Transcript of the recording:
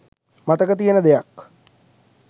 මතක තියෙන දෙයක්..